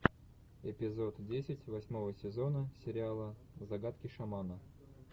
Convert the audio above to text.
эпизод десять восьмого сезона сериала загадки шамана